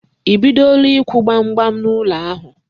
I bidola ịkwụ gbam gbam n'ụlọ ahụ?